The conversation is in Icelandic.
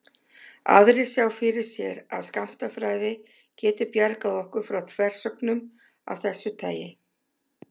Aðrir sjá fyrir sér að skammtafræði geti bjargað okkur frá þversögnum af þessu tagi.